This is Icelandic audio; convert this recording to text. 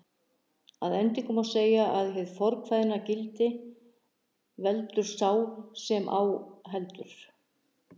Að endingu má segja að hið fornkveðna gildi, veldur sá sem á heldur